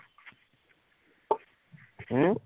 হম